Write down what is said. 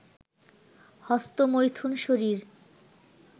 হস্তমৈথুন শরীর